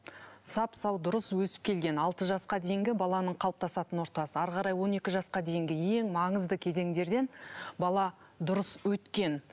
сап сау дұрыс өсіп келген алты жасқа дейінгі баланың қалыптасатын ортасы әрі қарай он екі жасқа дейінгі ең маңызды кезеңдерден бала дұрыс өткен